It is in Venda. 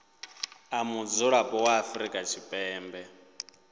a mudzulapo wa afrika tshipembe